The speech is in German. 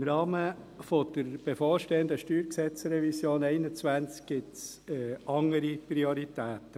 Im Rahmen der bevorstehenden StGRevision 2021 gibt es andere Prioritäten.